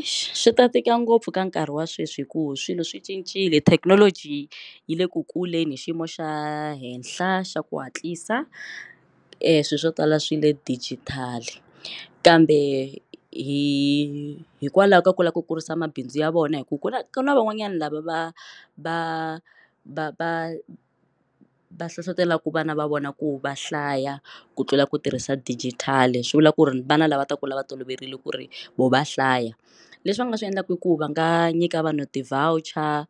Eish swi ta tika ngopfu ka nkarhi wa sweswi hikuva swilo swi cincile thekinoloji yi le ku kuleni hi xiyimo xa le henhla xa ku hatlisa swilo swo tala swi le dijitali kambe hikwalaho ka ku lava ku kurisa mabindzu ya vona hi ku kula ka na van'wanyana lava va va va va va hlohlotelaka vana va vona ku va hlaya ku tlula ku tirhisa digital swi vula ku ri vana lava ta kula va toloverile ku ri vo va hlaya leswi va nga swi endlaka i ku va nga nyika vanhu ti voucher